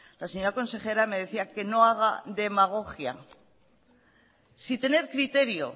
la señora consejera me decía que no haga demagogia sin tener criterio